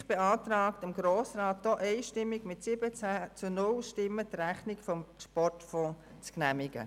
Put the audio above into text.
Die SiK beantragt dem Grossen Rat einstimmig mit 17 zu 0 Stimmen, die Rechnung des Sportfonds zu genehmigen.